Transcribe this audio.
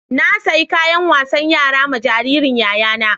Na saƴi kayan wasan yara ma jaririn yayana.